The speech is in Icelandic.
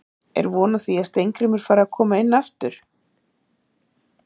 Er von á því að Steingrímur fari að koma inn aftur?